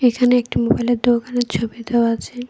এইখানে একটি মোবাইলের দোকানের ছবি দেওয়া আছে।